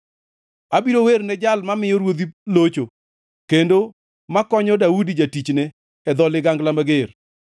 abiro werne Jal mamiyo ruodhi locho, kendo makonyo Daudi jatichne e dho ligangla mager.